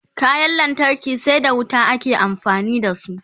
kayan lantarki sai da wuta ake amfani da su